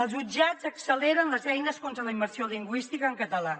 els jutjats acceleren les eines contra la immersió lingüística en català